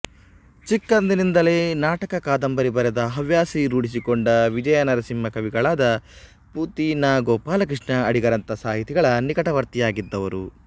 ಚಿಕ್ಕಂದಿನಿಂದಲೇ ನಾಟಕಕಾದಂಬರಿ ಬರೆವ ಹವ್ಯಾಸ ರೂಢಿಸಿಕೊಂಡ ವಿಜಯನಾರಸಿಂಹ ಕವಿಗಳಾದ ಪು ತಿ ನ ಗೋಪಾಲ ಕೃಷ್ಣ ಅಡಿಗರಂಥ ಸಾಹಿತಿಗಳ ನಿಕಟವರ್ತಿಯಾಗಿದ್ದವರು